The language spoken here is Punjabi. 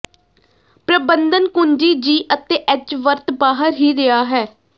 ਪ੍ਰਬੰਧਨ ਕੁੰਜੀ ਜੀ ਅਤੇ ਐੱਚ ਵਰਤ ਬਾਹਰ ਹੀ ਰਿਹਾ ਹੈ